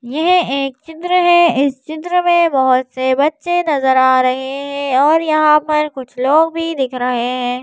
यह एक चित्र है इस चित्र में बहुत से बच्चे नजर आ रहे हैं और यहां पर कुछ लोग भी दिख रहे हैं।